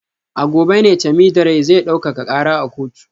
A gobe ne Temidire zai daukaka kara a kotu